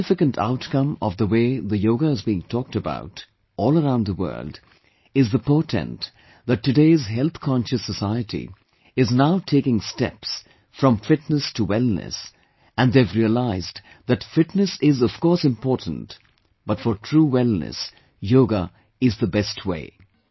One significant outcome of the way the yoga is being talked about all around the world is the portent that today's health conscious society is now taking steps from fitness to wellness, and they have realised that fitness is, of course, important, but for true wellness, yoga is the best way